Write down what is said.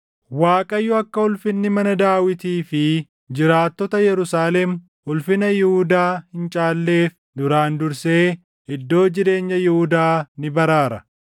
“ Waaqayyo akka ulfinni mana Daawitii fi jiraattota Yerusaalem ulfina Yihuudaa hin caalleef duraan dursee iddoo jireenya Yihuudaa ni baraara.